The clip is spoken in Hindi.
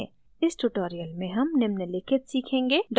इस tutorial में हम निम्नलिखित सीखेंगे